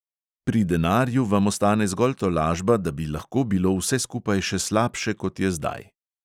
Pri denarju vam ostane zgolj tolažba, da bi lahko bilo vse skupaj še slabše, kot je zdaj.